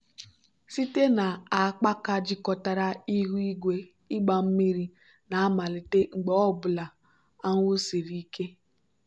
site na akpaaka jikọtara ihu igwe ịgba mmiri na-amalite mgbe ọ bụla anwụ siri ike.